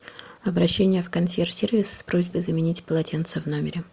обращение в консьерж сервис с просьбой заменить полотенца в номере